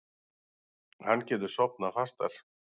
Hann getur sofnað fastar.